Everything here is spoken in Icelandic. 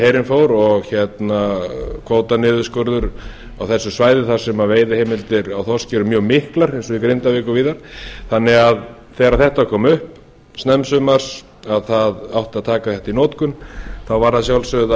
herinn fór og kvótaniðurskurður á þessu svæði þar sem veiðiheimildir á þorski eru mjög miklar eins og í grindavík og víðar þannig að þegar þetta kom upp snemmsumars það átti að taka þetta í notkun þá varð að sjálfsögðu